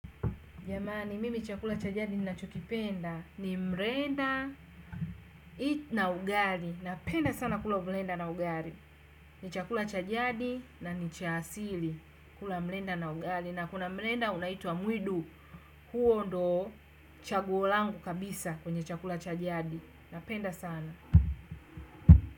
Jamani, mimi chakula cha jadi ninachokipenda ni mrenda na ugali. Napenda sana kula mrenda na ugali. Ni chakula cha jadi na ni cha asili kula mrenda na ugali. Na kuna mrenda unaitwa mwidu. Huo ndo chaguo langu kabisa kwenye chakula cha jadi. Napenda sana.